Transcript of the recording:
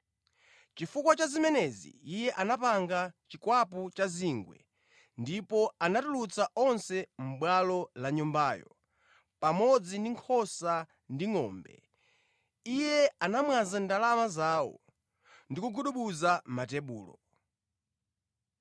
Chifukwa cha zimenezi Iye anapanga chikwapu cha zingwe ndipo anatulutsa onse mʼbwalo la Nyumbayo, pamodzi ndi nkhosa ndi ngʼombe; Iye anamwaza ndalama zawo ndi kugudubuza matebulo.